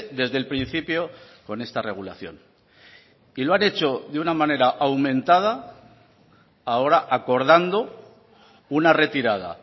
desde el principio con esta regulación y lo han hecho de una manera aumentada ahora acordando una retirada